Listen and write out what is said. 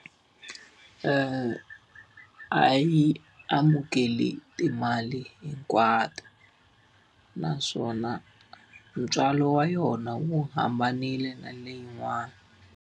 a yi amukeli timali hinkwato, naswona ntswalo wa yona wu hambanile na leyin'wani.